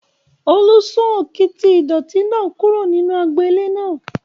Olú sún òkìtì ìdọ̀ọ̀tí náà kúrò nínú agbo ilé náà